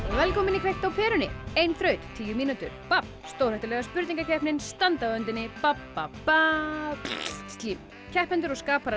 velkomin í kveikt á perunni ein þraut tíu mínútur babb stórhættulega spurningakeppnin standa á öndinni slím keppendur og